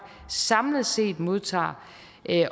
samlet set modtager